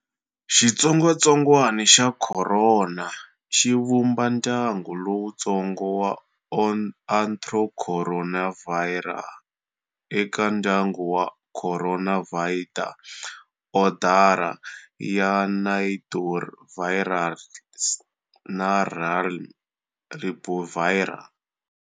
Xitsongatsongwana xa khorona xi vumba ndyangu lowutsongo wa Orthocoronavirinae, eka ndyangu"wa Coronaviridae", odara"ya Nidovirales" na realm"Riboviria".